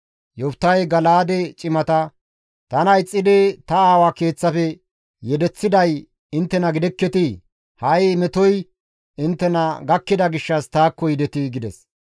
Yoftahey Gala7aade cimata, «Tana ixxidi ta aawa keeththafe yedeththiday inttena gidekketii? Ha7i metoy inttena gakkida gishshas taakko yidetii?» gides.